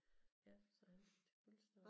Ja så han er til fødselsdag